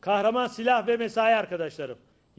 Qəhrəman silahdaşlarım və məsləkdaşlarım.